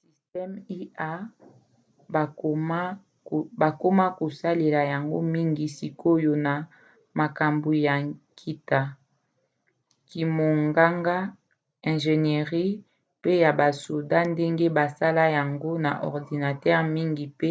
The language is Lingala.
systeme ia bakoma kosalela yango mingi sikoyo na makambo ya nkita kimonganga ingénierie pe ya basoda ndenge basala yango na ordinatere mingi pe